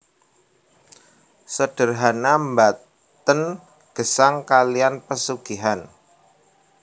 Sederhana mbaten gesang kalian pesugihan